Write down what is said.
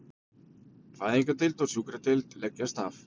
Fæðingardeild og sjúkradeild leggjast af